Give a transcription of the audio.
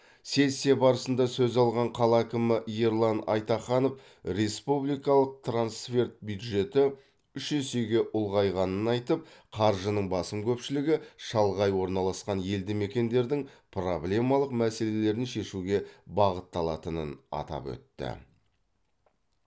сессия барысында сөз алған қала әкімі ерлан айтаханов республикалық трансферт бюджеті үш есеге ұлғайғанын айтып қаржының басым көпшілігі шалғай орналасқан елді мекендердің проблемалық мәселелерін шешуге бағытталатынын атап өтті